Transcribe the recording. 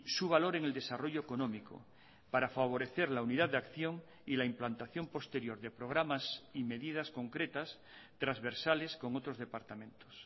su valor en el desarrollo económico para favorecer la unidad de acción y la implantación posterior de programas y medidas concretas transversales con otros departamentos